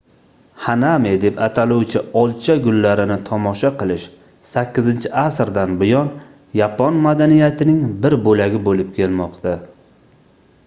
hanami deb ataluvchi olcha gullarini tomosha qilish 8-asrdan buyon yapon madaniyatining bir boʻlagi boʻlib kelmoqda